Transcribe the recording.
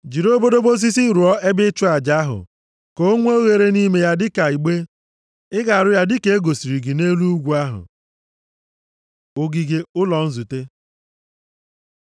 Jiri obodobo osisi rụọ ebe ịchụ aja ahụ, ka o nwee oghere nʼime, dịka igbe. Ị ga-arụ ya dịka e gosiri gị nʼelu ugwu ahụ. Ogige ụlọ nzute